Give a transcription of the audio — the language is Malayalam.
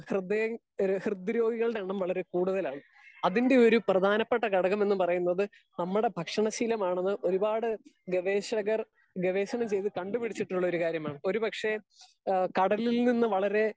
സ്പീക്കർ 2 ഹൃദയ ഹേ ഹൃദയെ രോഗികളുടെ എണ്ണം വളരെ കൂടുതലായിരിക്കും. അതിന്റെ ഒര് പ്രധാനപ്പെട്ട ഒര് ഘടഗം എന്ന് പറയുന്നത് നമ്മുടെ ഭക്ഷണ ശീലമാണെന്ന് ഒരുപാട് ഗവേഷകർ ഗവേഷണം ചെയ്തു കണ്ട് പിടിച്ചിട്ടുള്ള ഒരുകാര്യമാണ് ഒര് പക്ഷെ ഹേ കടലിൽ നിന്ന് വളരെ